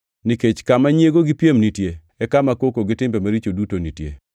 Nikech kama nyiego gi piem nitie e kama koko gi timbe maricho duto nitie.